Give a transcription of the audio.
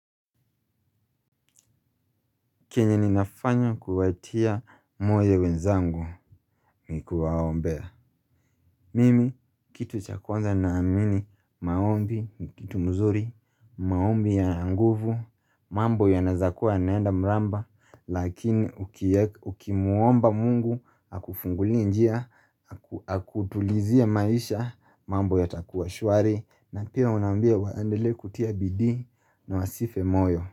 Kenye ninafanya kuwatia moyo wenzangu ni kuwaombea. Mimi, kitu cha kwanza nina amini maombi, ni kitu mzuri, maombi ya nguvu, mambo ya nazakuwa naenda mramba, lakini uki muomba Mungu, aku fungulie njia, haku tulizia maisha, mambo ya takuwa shuari, na pia unambia waendele kutia bidi na wasife moyo.